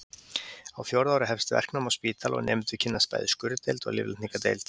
Á fjórða ári hefst verknám á spítala og nemendur kynnast bæði skurðdeild og lyflækningadeild.